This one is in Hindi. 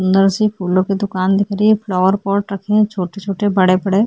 सुन्दर से फ़ूलो की दुकान दिख रही है फ़्लावर पोट रखे है छॊटे -छॊटे बड़े -बड़े --